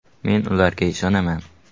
Men ularga ishonaman”.